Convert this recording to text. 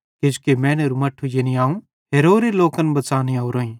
किजोकि मैनेरू मट्ठू यानी अवं हेरोरे लोकन बच़ाने ओरोईं